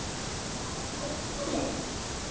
Á hóteli?